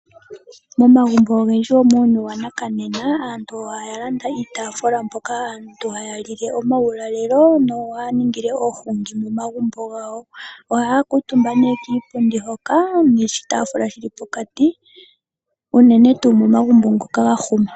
Momagumbo ogendji muuyuni wanakanena aantu oya landa iitaafula mpoka aantu haya lile owaulalelo nohaya ningile oohungi momagumbo gawo. Ohaya kuutumba kiipundi noshitaafula shili pokati, unene tuu momagumbo ngoka ga huma.